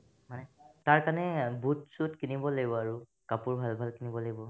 মানে তাৰকাৰণে এ boot চুট কিনিব লাগিব আৰু কাপোৰ ভাল ভাল কিনিব লাগিব